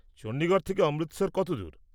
চণ্ডীগড় থেকে অমৃতসর কত দূর?